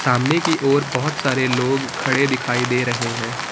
सामने की ओर बहुत सारे लोग खड़े दिखाई दे रहे हैं।